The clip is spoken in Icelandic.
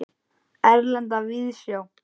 Erlenda víðsjá.